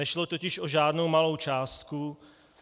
Nešlo totiž o žádnou malou částku.